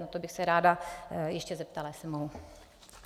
Na to bych se ráda ještě zeptala, jestli mohu.